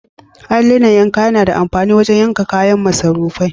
Alluna yanka yAna da amfani wajan wanka kayan masarufai